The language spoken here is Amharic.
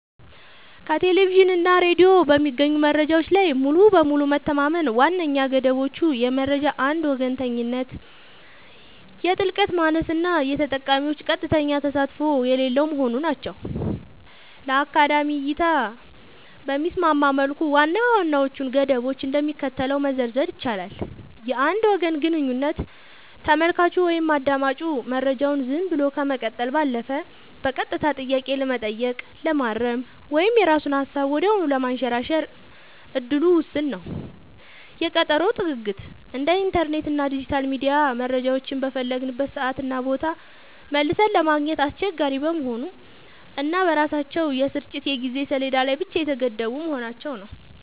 ከቴሌቪዥን እና ሬዲዮ በሚገኙ መረጃዎች ላይ ሙሉ በሙሉ መተማመን ዋነኛ ገደቦቹ የመረጃ አንድ ወገንተኝነት፣ የጥልቀት ማነስ እና የተጠቃሚዎች ቀጥተኛ ተሳትፎ የሌለው መሆኑ ናቸው። ለአካዳሚክ እይታ በሚስማማ መልኩ ዋና ዋናዎቹን ገደቦች እንደሚከተለው መዘርዘር ይቻላል፦ የአንድ ወገን ግንኙነት : ተመልካቹ ወይም አዳማጩ መረጃውን ዝም ብሎ ከመቀበል ባለፈ በቀጥታ ጥያቄ ለመጠየቅ፣ ለማረም ወይም የራሱን ሃሳብ ወዲያውኑ ለማንሸራሸር እድሉ ውስን ነው። የቀጠሮ ጥግግት : እንደ ኢንተርኔት እና ዲጂታል ሚዲያ መረጃዎችን በፈለግንበት ሰዓትና ቦታ መልሰን ለማግኘት አስቸጋሪ መሆኑ እና በራሳቸው የስርጭት የጊዜ ሰሌዳ ላይ ብቻ የተገደቡ መሆናቸው።